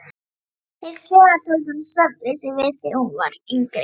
Hins vegar þoldi hún svefnleysi vel þegar hún var yngri.